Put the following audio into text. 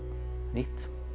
nýtt